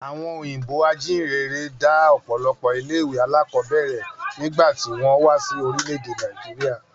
Àwọn òyìnbó ajíhìnrere dá ọ̀pọ̀lọpọ̀ ilé ìwé alákọ̀ọ́bẹ̀rẹ̀ nígbà tí wọ́n wá sí orílẹ̀ èdè Nàìjíríà